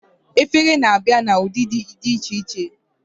Efere na-abịa na ụdị dị iche iche